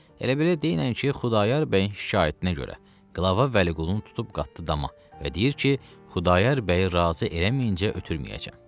Elə belə dinən ki, Xudayar bəyin şikayətinə görə qlava Vəliqulunu tutub qatdı dama və deyir ki, Xudayar bəyi razı eləməyincə ötürməyəcəm.